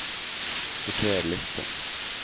Sorter liste